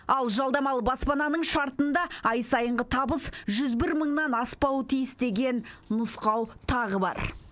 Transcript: ал жалдамалы баспананың шартында ай сайынғы табыс жүз бір мыңнан аспауы тиіс деген нұсқау тағы бар